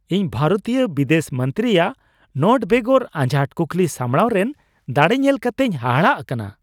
ᱤᱧ ᱵᱷᱟᱨᱚᱛᱤᱭᱟᱹ ᱵᱤᱫᱮᱥ ᱢᱚᱱᱛᱨᱤᱭᱟᱜ ᱱᱳᱴ ᱵᱮᱜᱚᱨ ᱟᱡᱷᱟᱴ ᱠᱩᱠᱞᱤ ᱥᱟᱢᱲᱟᱣ ᱨᱮᱱ ᱫᱟᱲᱮ ᱧᱮᱞ ᱠᱟᱛᱮᱧ ᱦᱟᱦᱟᱲᱟᱜ ᱟᱠᱟᱱᱟ ᱾